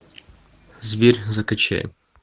зверь закачай